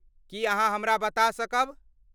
की अहाँ हमरा बता सकब?